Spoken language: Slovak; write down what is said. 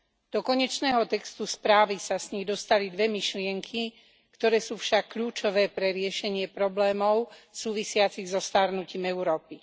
Do konečného textu správy sa z nich dostali dve myšlienky, ktoré sú však kľúčové pre riešenie problémov súvisiacich so starnutím Európy.